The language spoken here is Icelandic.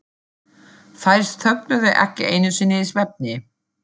Þær þögnuðu ekki einu sinni í svefni.